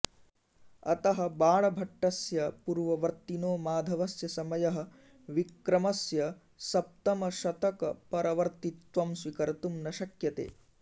अतः बाणभट्टस्य पूर्ववर्त्तिनो माधवस्य समयः विक्रमस्य सप्तमशतकपरवर्त्तित्वं स्वीकर्तुं न शक्यते